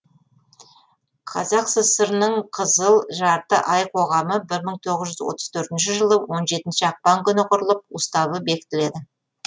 қазақ сср ның қызыл жарты ай қоғамы бір мың тоғыз жүз отыз төртінші жылы он жетінші ақпан күні құрылып уставы бекітіледі